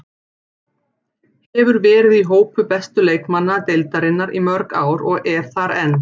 Hefur verið í hópi bestu leikmanna deildarinnar í mörg ár og er þar enn.